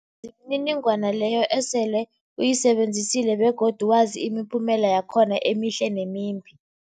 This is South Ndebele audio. mniningwana leyo osele uyisebenzisile begodu wazi imiphumela yakhona emihle nemimbi.